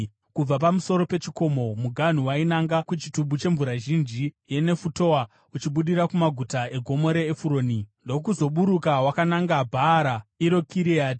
Kubva pamusoro pechikomo, muganhu wainanga kuchitubu chemvura zhinji yeNefutoa, uchibudira kumaguta eGomo reEfuroni ndokuzoburuka wakananga Bhaara iro Kiriati.